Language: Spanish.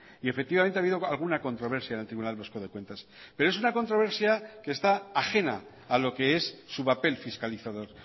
y efectivamente ha habido alguna controversia en el tribunal vasco de cuentas pero es una controversia que está ajena a lo que es su papel fiscalizador